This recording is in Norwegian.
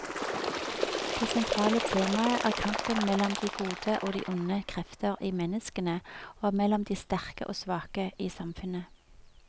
Det sentrale temaet er kampen mellom de gode og de onde krefter i menneskene, og mellom de sterke og svake i samfunnet.